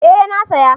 Eh na saya